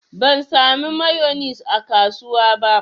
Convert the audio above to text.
Ban samu mayonis a kasuwa ba.